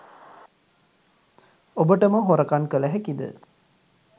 ඔබටම හොරකන් කල හැකිද?